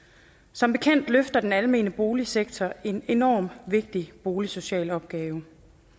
som bekendt løfter den almene boligsektor en enormt vigtig boligsocial opgave